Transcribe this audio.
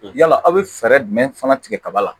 Yala aw bɛ fɛɛrɛ jumɛn fana tigɛ kaba la